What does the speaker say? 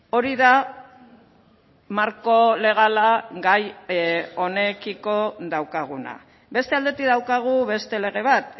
hori da marko legala gai honekiko daukaguna beste aldetik daukagu beste lege bat